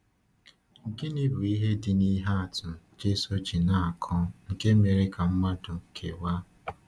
Gịnị bụ ihe dị n’ihe atụ Jésù ji na-akọ nke mere ka mmadụ kewaa?